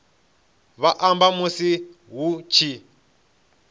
vha amba musi hu tshi